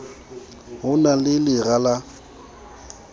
ho na le lera la